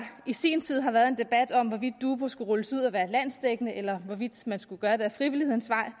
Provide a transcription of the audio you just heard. i sin tid har været en debat om hvorvidt dubu skulle rulles ud og være landsdækkende eller hvorvidt man skulle gøre det ad frivillighedens vej